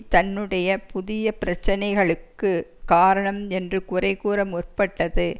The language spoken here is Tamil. தன்னுடைய புதிய பிரச்சினைகளுக்கு காரணம் என்று குறை கூற முற்பட்டது